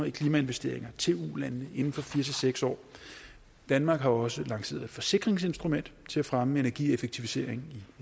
i klimainvesteringer til ulandene inden for fire seks år danmark har også lanceret et forsikringsinstrument til at fremme energieffektivisering